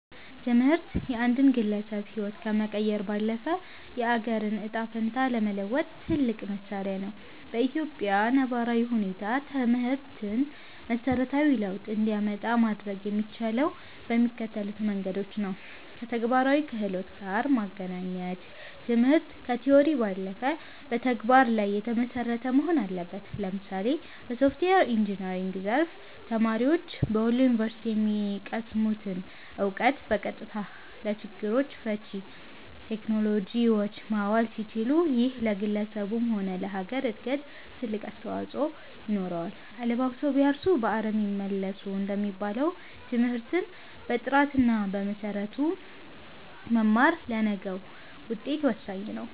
ትምህርት የአንድን ግለሰብ ህይወት ከመቀየር ባለፈ፣ የአገርን ዕጣ ፈንታ ለመለወጥ ትልቁ መሣሪያ ነው። በኢትዮጵያ ነባራዊ ሁኔታ ትምህርትን መሠረታዊ ለውጥ እንዲያመጣ ማድረግ የሚቻለው በሚከተሉት መንገዶች ነውከተግባራዊ ክህሎት ጋር ማገናኘት ትምህርት ከቲዎሪ ባለፈ በተግባር ላይ የተመሰረተ መሆን አለበት። ለምሳሌ በሶፍትዌር ኢንጂነሪንግ ዘርፍ፣ ተማሪዎች በወሎ ዩኒቨርሲቲ የሚቀስሙትን እውቀት በቀጥታ ለችግር ፈቺ ቴክኖሎጂዎች ማዋል ሲችሉ፣ ይሄ ለግለሰቡም ሆነ ለሀገር እድገት ትልቅ አስተዋፅኦ ይኖረዋል። "አለባብሰው ቢያርሱ በአረም ይመለሱ" እንደሚባለው፣ ትምህርትን በጥራትና በመሰረቱ መማር ለነገው ውጤት ወሳኝ ነው።